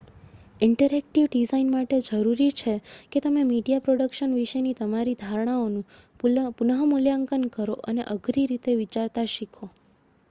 interactive design માટે જરૂરી છે કે તમે મીડિયા પ્રોડક્શન વિશેની તમારી ધારણાઓનું પુનઃ મૂલ્યાંકન કરો અને અઘરી રીતે વિચારતા શીખો